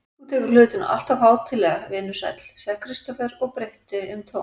Þú tekur hlutina alltof hátíðlega, vinur sæll, sagði Kristófer og breytti um tón.